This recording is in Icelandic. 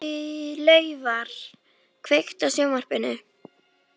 Laufar, kveiktu á sjónvarpinu.